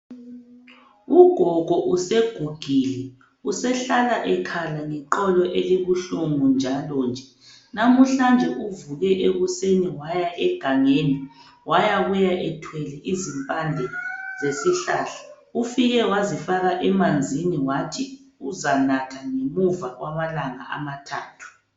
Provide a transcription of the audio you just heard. Ugogo usegugile ,usehlala ekhala ngeqolo elibuhlungu njalonje .Namhlanje uvuke ekuseni waya egangeni ,wayabuya ethwele izimpande zesihlahla .Ufike wazifaka emanzini wathi uzanatha ngemuva kwamalanga amathathu.